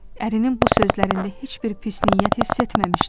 Ərinin bu sözlərində heç bir pis niyyət hiss etməmişdim.